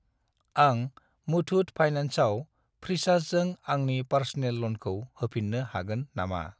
आं मुथुट फाइनान्सआव फ्रिसार्जजों आंनि पार्स'नेल ल'नखौ होफिन्नो हागोन नामा?